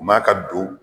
Ma ka don